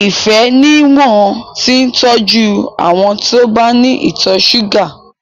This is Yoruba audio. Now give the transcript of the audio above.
Ifẹ̀ ni wọn ti ń tọ́jú àwọn tí ó bá ní ìtọ̀ ṣúgà.